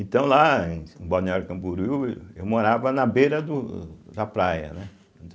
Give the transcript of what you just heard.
Então lá, em em Balneário Camboriú, eu morava na beira do da praia, né.